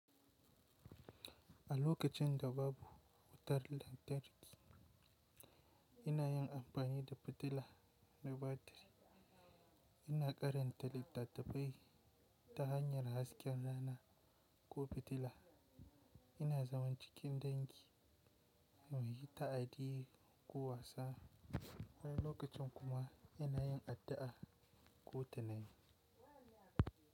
A lokacin da babu wutar lantarki, ina yin amfani da fitila na batiri. Ina ƙaranta littattafai ta hanyar hasken rana ko fitila, ina zaman cikin dangi muyi taɗi ko wasa, wani lokacin kuma ina yin addu'a ko tunani.